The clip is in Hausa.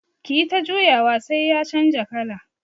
Kiyi ta juyawa sai ya canja kala.